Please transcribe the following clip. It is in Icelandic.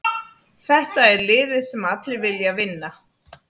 Þetta er liðið sem allir vilja vinna.